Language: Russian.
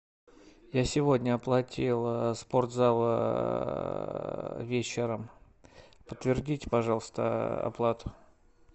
я сегодня оплатил спортзал вечером подтвердите пожалуйста оплату